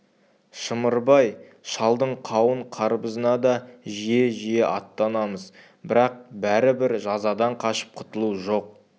шымырбай шалдың қауын-қарбызына да жиі-жиі аттанамыз бірақ бәрібір жазадан қашып құтылу жоқ